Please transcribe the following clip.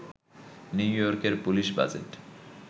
new ইয়র্কের police budget